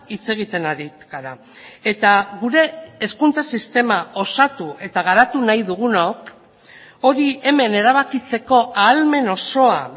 hitz egiten ari gara eta gure hezkuntza sistema osatu eta garatu nahi dugunok hori hemen erabakitzeko ahalmen osoa